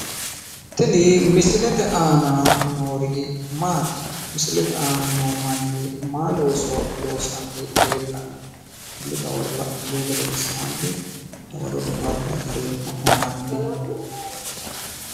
Tini misilete aana noori mati? misilete aana noo manni maayi llooso loosanni leellanno? tenne dawaro lainihu gedensaanni dawaro daware'e agareemmo'nena hanni.